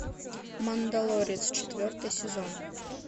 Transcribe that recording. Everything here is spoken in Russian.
мандалорец четвертый сезон